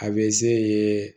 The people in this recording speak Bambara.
A bɛ se